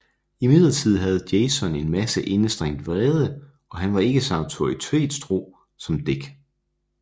Imidlertid havde Jason en masse indestængt vrede og han var ikke så autoritetstro som Dick